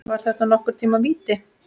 Var þetta nokkurn tíma víti?